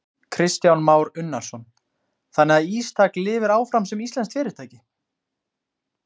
Kristján Már Unnarsson: Þannig að Ístak lifir áfram sem íslenskt fyrirtæki?